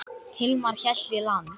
Hilmar hélt í land.